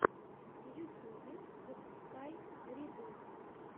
в ютубе запускай риддл